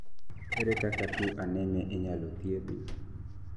ere kaka tuwo anemia inyalo thiedh?